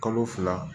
Kalo fila